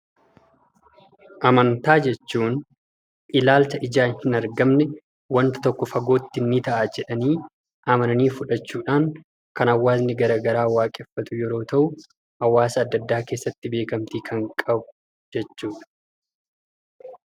Amantaa jechuun ilaalcha ijaan hin argamne wanta tokko fagootti nii ta'a jedhanii amananii fudhachuudhaan kan hawaasni gara garaa waaqeffatu yeroo ta'u hawaasa adda addaa keessatti beekamtii kan qabu jechuudha.